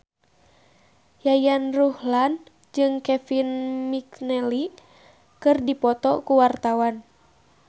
Yayan Ruhlan jeung Kevin McNally keur dipoto ku wartawan